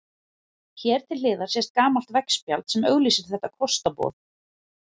Hér til hliðar sést gamalt veggspjald sem auglýsir þetta kostaboð.